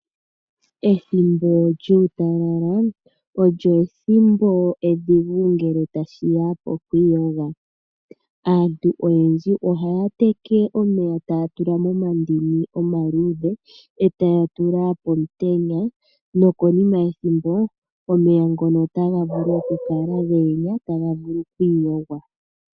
Ethimbo lyuutalala olyo ethimbo edhigu ngele tashiya pokwiiyoga. Aantu oyendji ohaya teke omeya taya tula momandini omaluudhe etaya tula pomutenya nokonima yethimbo omeya ngono otaga vulu okukala ge enya taga vulu oku iyogwa.